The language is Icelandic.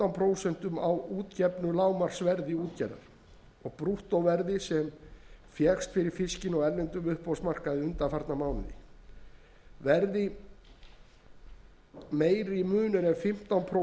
prósent mun á útgefnu lágmarksverði útgerðar og brúttóverði sem fékkst fyrir fiskinn á erlendum uppboðsmarkaði undanfarinn mánuð verði meiri munur en fimmtán prósent verður